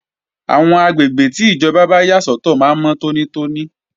Àwọn àgbègbè tí ìjọba yà sọ́tọ̀ máa ń mọ́ tónítóní